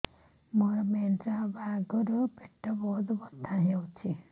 ମୋର ମେନ୍ସେସ ହବା ଆଗରୁ ପେଟ ବହୁତ ବଥା ହଉଚି